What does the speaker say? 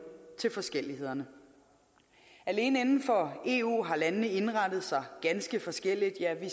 til forskellighederne alene inden for eu har landene indrettet sig ganske forskelligt ja vi